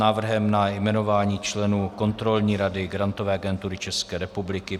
Návrh na jmenování členů Kontrolní rady Grantové agentury České republiky